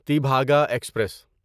Tebhaga express